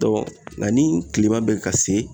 Dɔn nga ni kilema be ka se